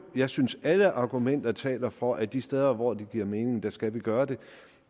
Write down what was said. jeg synes at alle argumenter taler for at de steder hvor det giver mening skal vi gøre det